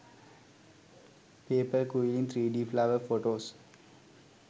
paper quilling 3d flower photos